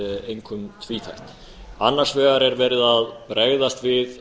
einkum tvíþætt annars vegar er verið að bregðast við